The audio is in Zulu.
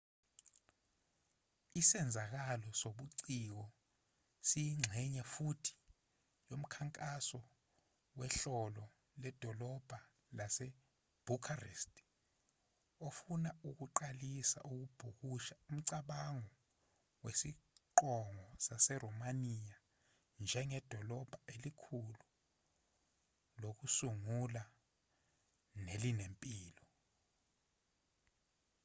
isenzakalo sobuciko siyingxenye futhi yomkhankaso wehhlolo ledolobha lasebucharest ofuna ukuqalisa kabusha umcabango wesiqongo saseromaniya njengedolobha elikhulu lokusungula nelinempilo